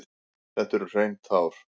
Þetta eru hrein tár.